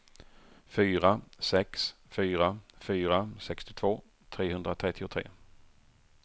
fyra sex fyra fyra sextiotvå trehundratrettiotre